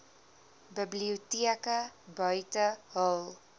biblioteke buite hul